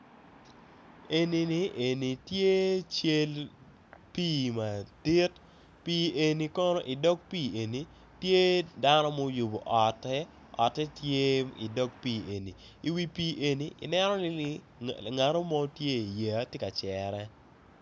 Eni tye cal pii madit pii eni kono tye dano ma oyubo otte otte tye i dok pii ngat mo tye i yeya tye ka yere